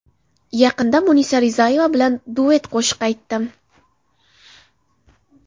Yaqinda Munisa Rizayeva bilan duet qo‘shiq aytdim.